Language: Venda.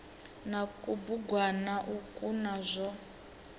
na kubugwana ukwo na zwo